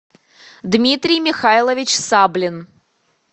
дмитрий михайлович саблин